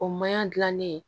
O maɲan gilanni